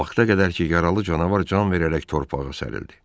O vaxta qədər ki, yaralı canavar can verərək torpağa sərilirdi.